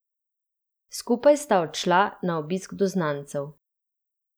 Skupaj sta odšla na obisk do znancev.